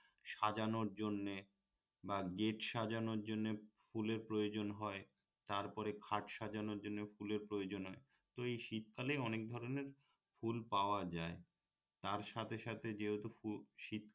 সাজানোর জন্যে বা গেট সাজানোর জন্যে ফুলের প্রয়োজন হয় তারপরে খাট সাজানোর জন্যে ফুলের প্রয়োজন হয় তো এই শীতকালে অনেক ধরনের ফুল পাওয়া যায় তার সাথে সাথে যেহেতু ফু